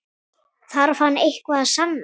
Þarf hann eitthvað að sanna?